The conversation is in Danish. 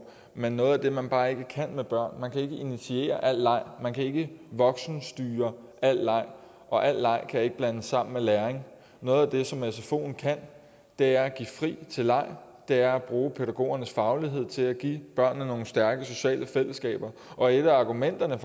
men noget af det man bare ikke kan med børn er kan initiere al leg man kan ikke voksenstyre al leg og al leg kan ikke blandes sammen med læring noget af det som sfoen kan er at give fri til leg det er at bruge pædagogernes faglighed til at give børnene nogle stærke sociale fællesskaber og et af argumenterne